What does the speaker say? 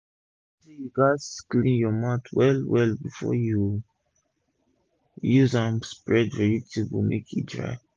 i learn say u gats clean ur mat well well before u use am spread vegetable make e dry